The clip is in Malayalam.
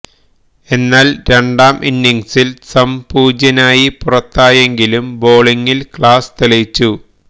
എന്നാല് രണ്ടാം ഇന്നിംഗ്സില് സംപൂജ്യനായി പുറത്തായെങ്കിലും ബൌളിംഗില് ക്ലാസ് തെളിയിച്ചു